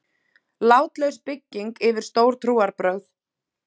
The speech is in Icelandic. Látlaus bygging yfir stór trúarbrögð.